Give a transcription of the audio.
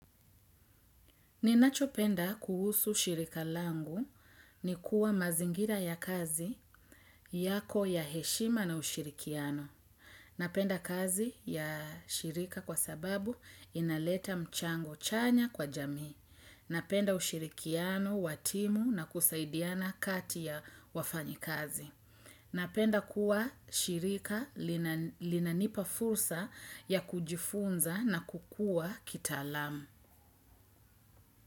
Ninachopenda kuhusu shirika langu ni kuwa mazingira ya kazi yako ya heshima na ushirikiano. Napenda kazi ya shirika kwa sababu inaleta mchango chanya kwa jamii. Napenda ushirikiano wa timu na kusaidiana kati ya wafanya kazi. Napenda kuwa shirika linanipa fursa ya kujifunza na kukua kitaalamu.